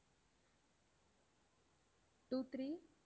two three